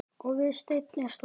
Og við stein er stopp.